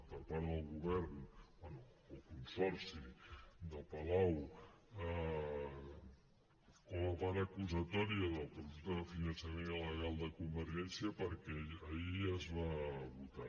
per part del govern bé el consorci del palau com a part acusatòria del presumpte finançament il·legal de convergència perquè ahir ja es va votar